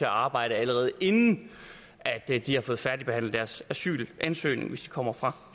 arbejde allerede inden de har fået færdigbehandlet deres asylansøgning hvis de kommer fra